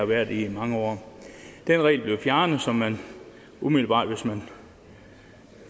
været i i mange år den regel blev fjernet så man umiddelbart hvis man